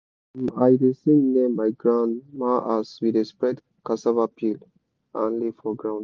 um i dey sing near my grandma as we dey spread cassava peel and leaf for ground.